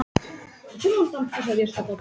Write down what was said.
Sem reynir að tosa hana burt.